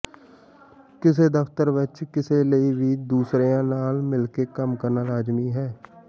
ਕਿਸੇ ਦਫ਼ਤਰ ਵਿਚ ਕਿਸੇ ਲਈ ਵੀ ਦੂਸਰਿਆਂ ਨਾਲ ਮਿਲ ਕੇ ਕੰਮ ਕਰਨਾ ਲਾਜ਼ਮੀ ਹੈ